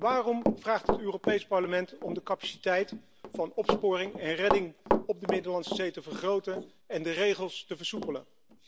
Waarom vraagt het Europees Parlement om de capaciteit van opsporing en redding op de Middellandse Zee te vergroten en de regels te versoepelen?